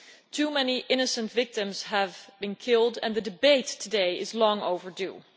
Too many innocent victims have been killed and the debate today is long overdue.